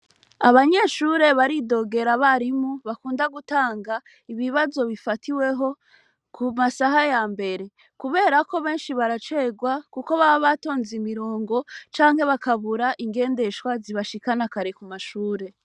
Abanyeshure baridogera abarimu bakunda gutanga ,ibibazo bifatiweho kumasaha yambere, kubera ko benshi baracerwa kuko baba batonze imirongo canke bakabura ingendeshwa zibashikana kare kumashure.